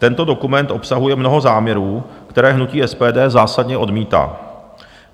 Tento dokument obsahuje mnoho záměrů, které hnutí SPD zásadně odmítá.